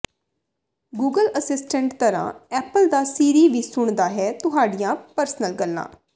Google assistant ਤਰ੍ਹਾਂ Apple ਦਾ ਸੀਰੀ ਵੀ ਸੁਣਦਾ ਹੈ ਤੁਹਾਡੀਆਂ ਪਰਸਨਲ ਗੱਲਾਂ